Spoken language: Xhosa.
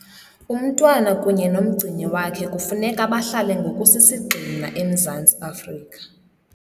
Umntwana kunye nomgcini wakhe kufuneka bahlale ngokusisigxina eMzantsi Afrika.